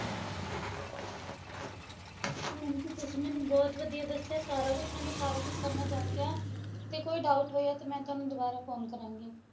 ਹਾਂਜੀ ਤੁਸੀ ਮੈਨੂੰ ਬਹੁਤ ਵਧੀਆ ਦੱਸਿਆ ਸਾਰਾ ਕੁੱਝ ਮੈਨੂੰ ਸਾਰਾ ਕੁੱਝ ਸਮਝ ਆ ਗਿਆ ਤੇ ਕੋਈ doubt ਹੋਇਆ ਤੇ ਮੈਂ ਤੁਹਾਨੂੰ ਦੁਬਾਰਾ phone ਕਰਾਂਗੀ